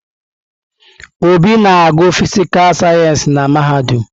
Obi na-agụ fịsịkà sayensị na mahadum.